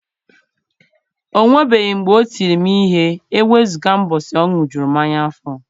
O nwebeghị mgbe o tiri m ihe e wezụga ụbọchị ọ ṅụjurụ mmanya afọ.